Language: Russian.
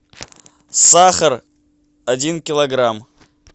сахар один килограмм